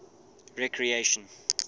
recreation